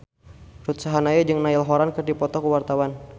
Ruth Sahanaya jeung Niall Horran keur dipoto ku wartawan